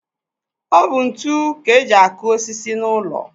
Ọ bụ ntu ka eji akụ osisi n'ụlọ.